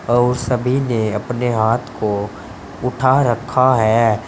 और सभी ने अपने हाथ को उठा रखा है।